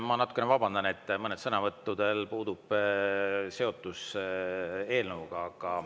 Ma natukene vabandan, et mõnel sõnavõtul puudub seotus eelnõuga.